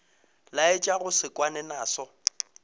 laetša go se kwane naso